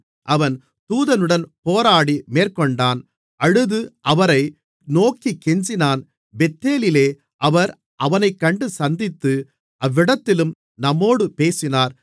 அவன் தூதனுடன் போராடி மேற்கொண்டான் அழுது அவரை நோக்கிக் கெஞ்சினான் பெத்தேலிலே அவர் அவனைக் கண்டு சந்தித்து அவ்விடத்திலும் நம்மோடே பேசினார்